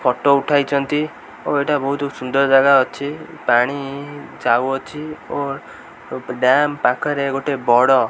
photo ଉଠାଇଛନ୍ତି ଓ ଏଇଟା ବହୁତ୍ ସୁନ୍ଦର୍ ଜାଗା ଅଛି ପାଣି ଯାଉ ଅଛି ଓ ଡ୍ୟାମ ପାଖରେ ଗୋଟେ ବଡ଼ --